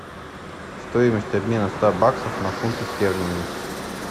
стоимость обмена ста баксов на фунты стерлинги